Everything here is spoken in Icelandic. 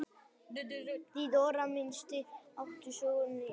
THEODÓRA: Mýsnar átu sönnunargögnin.